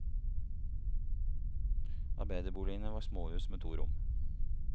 Arbeiderboligene var småhus med to rom.